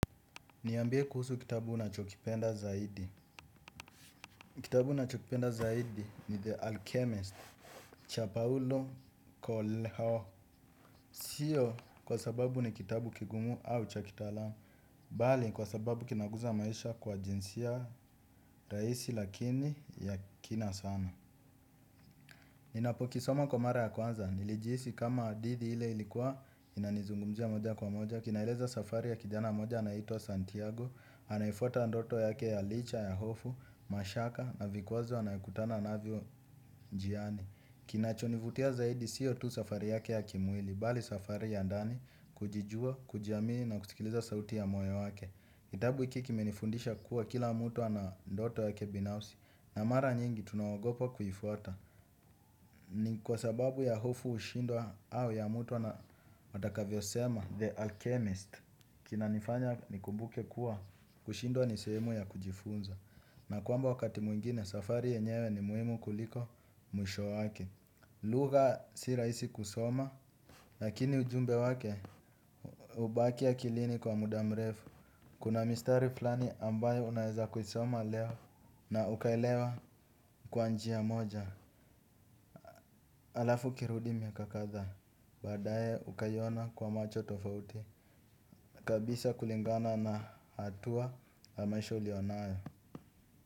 Niambie kuhusu kitabu unachokipenda zaidi? Kitabu nachokipenda zaidi ni: The Alchemist cha Paulo Koleho. Sio kwa sababu ni kitabu kigumu au cha kitaalam bali kwa sababu kinaguza maisha kwa jinsia rahisi lakini ya kina sana. Ninapo kisoma kwa mara ya kwanza nilijihisi kama hadithi ile ilikuwa inanizungumzia moja kwa moja. Kinaileza safari ya kijana mmoja anaitwa Santiago anayefwata ndoto yake ya licha ya hofu, mashaka na vikwazo anayekutana navyo njiani. Kinachonivutia zaidi sio tu safari yake ya kimwili, bali safari ya ndani kujijua, kujiamini na kusikiliza sauti ya moyo wake kitabu hiki kimenifundisha kuwa, kila mtu ana ndoto yake binafsi. Na mara nyingi tunaogopa kuifwata. Ni kwasababu ya hofu hushindwa au ya mtu atakavyo sema The Alchemist. Kinanifanya nikumbuke kuwa kushindwa ni sehemu ya kujifunza na kwamba wakati mwingine safari yenyewe ni muhimu kuliko mwisho wake. Lugha si rahisi kusoma, lakini ujumbe wake hubaki akilini kwa muda mrefu. Kuna mistari fulani ambayo unaweza kuisoma leo na ukaelewa kwa njia moja. Halafu ukirudi miaka kadhaa baadae ukaiona kwa macho tofauti kabisa kulingana na hatua ya maisha ulionayo.